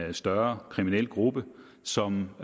en større kriminel gruppe som